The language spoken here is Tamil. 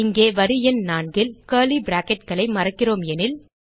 இங்கே வரி எண் 4 ல் கர்லி bracketகளை மறக்கிறோம் எனில்